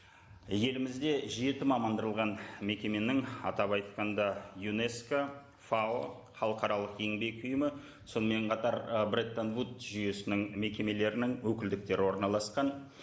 елімізде жеті мекеменің атап айтқанда юнеско фао халықаралық еңбек ұйымы сонымен қатар і бреттон вуд жүйесінің мекемелерінің өкілдіктері орналасқан